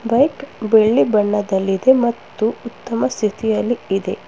Bike ಬಿಳಿ ಬಣ್ಣದಲ್ಲಿದೆ ಮತ್ತು ಉತ್ತಮ ಸ್ಥಿತಿಅಲ್ಲಿ ಇದೆ.